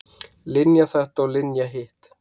Linja þetta og Linja hitt.